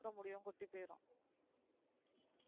இருக்கிற முடியும் கோடி போய்டும்